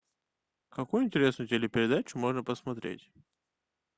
какую интересную телепередачу можно посмотреть